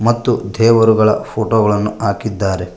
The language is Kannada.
ಮತ್ತು ದೇವರುಗಳ ಫೋಟೋ ಗಳನ್ನು ಹಾಕಿದ್ದಾರೆ.